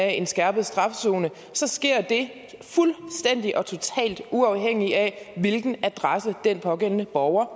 af en skærpet straf zone sker det fuldstændig og totalt uafhængigt af hvilken adresse den pågældende borger